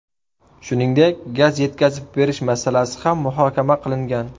Shuningdek gaz yetkazib berish masalasi ham muhokama qilingan.